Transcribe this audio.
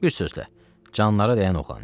Bir sözlə, canlara dəyən oğlan idi.